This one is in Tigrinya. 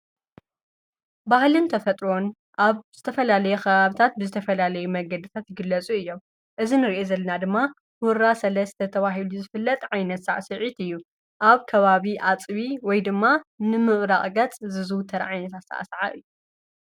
ባህልንተፈጥሮን ኣብ ብዝተፈላለየ ኽሃብታት ብዝተፈላለይ መገድታት ይግለጹ እየም እዝን ርአ ዘልና ድማ ሁራ ሠለ ዝተ ተዋሂሉ ዝፍለጥ ዓይነት ሣዕ ስዒት እዩ ኣብ ከባቢ ኣጽቢ ወይ ድማ ንምዕራቕገጽ ዝዙ ተርዓይንት ተዓሠዓ እዩ።